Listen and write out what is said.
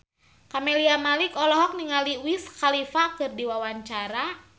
Camelia Malik olohok ningali Wiz Khalifa keur diwawancara